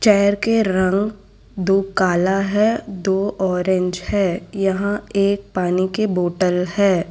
Chair के रंग दो काला है दो ऑरेंज है यहां एक पानी के बॉटल है।